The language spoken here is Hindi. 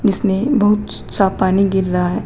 इसमें बहुत साफ पानी गिर रहा है।